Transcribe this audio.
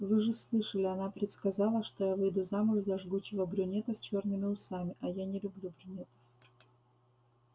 вы же слышали она предсказала что я выйду замуж за жгучего брюнета с чёрными усами а я не люблю брюнетов